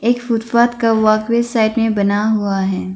Footpath का side में बना हुआ है।